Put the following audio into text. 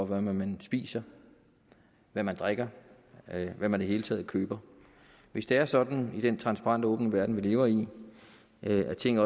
hvad man spiser hvad man drikker eller hvad man i det hele taget køber hvis det er sådan i den transparente og åbne verden vi lever i at ting